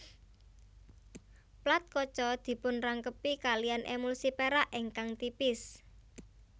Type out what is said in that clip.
Plat kaca dipunrangkepi kaliyan emulsi perak ingkang tipis